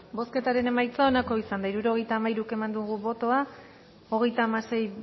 bozketaren emaitza onako izan da hirurogeita hamairu eman dugu bozka hogeita hamasei